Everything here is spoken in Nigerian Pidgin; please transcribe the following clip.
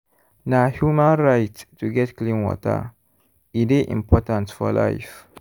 na human right to get clean water e dey important for life.